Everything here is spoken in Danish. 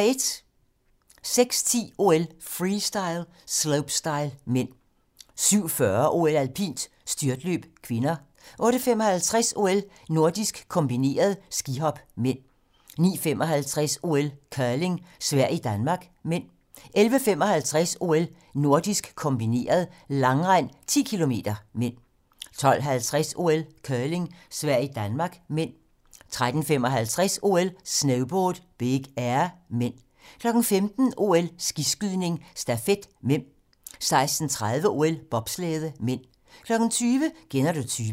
06:10: OL: Freestyle - slopestyle (m) 07:40: OL: Alpint - styrtløb (k) 08:55: OL: Nordisk kombineret - skihop (m) 09:55: OL: Curling - Sverige-Danmark (m) 11:55: OL: Nordisk kombineret - langrend 10 km (m) 12:50: OL: Curling - Sverige-Danmark (m) 13:55: OL: Snowboard - Big air (m) 15:00: OL: Skiskydning - stafet (m) 16:30: OL: Bobslæde (m) 20:00: Kender du typen?